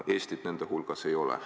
Eestit nende hulgas ei ole.